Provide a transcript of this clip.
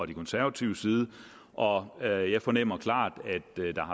de konservatives side og og jeg fornemmer klart